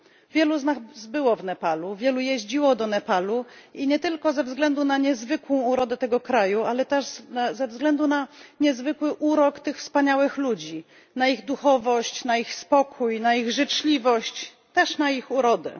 Wielu z nas było w Nepalu, wielu jeździło do Nepalu, nie tylko ze względu na niezwykłą urodę tego kraju, ale też ze względu na niezwykły urok tych wspaniałych ludzi, na ich duchowość, ich spokój, ich życzliwość, też ich urodę.